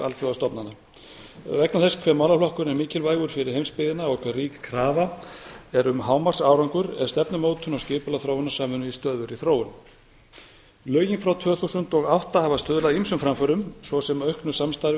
alþjóðastofnana vegna þess hve mikilvægur málaflokkurinn er fyrir heimsbyggðina og hve rík krafa er um hámarksárangur er stefnumótun og skipulag þróunarsamvinnu í stöðugri þróun lögin frá tvö þúsund og átta hafa stuðlað að ýmsum framförum svo sem auknu samstarfi